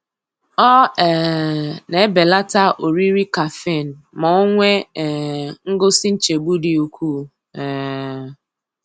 Ọ um na-ebelata oriri caffeine ma o nwee um ngosi nchegbu dị ukwuu. um